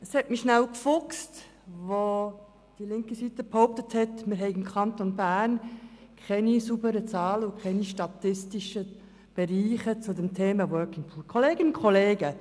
Es hat mich kurz gefuchst, als die linke Seite behauptet hat, wir hätten im Kanton Bern keine sauberen Zahlen und keine statistischen Berechnungen zum Thema «Working Poor».